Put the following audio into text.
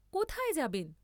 কোথায় যাবেন?